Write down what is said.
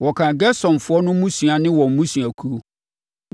Wɔkan Gersonfoɔ no mmusua ne wɔn mmusuakuo.